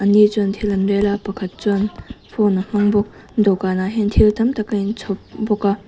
chuan thil an rel a pakhat chuan phone a hmang bawk dawhkanah hian thil tam tak a inchhawp bawk a.